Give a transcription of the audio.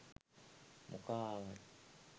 මොකා ආවත්